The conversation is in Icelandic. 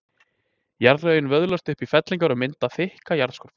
Jarðlögin vöðlast upp í fellingar og mynda þykka jarðskorpu.